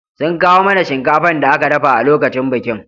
Sun kawo mana shinkafan da aka dafa a lokacin bikin